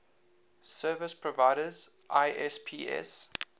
service providers isps